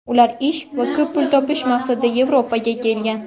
Ular ish va ko‘p pul topish maqsadida Yevropaga kelgan.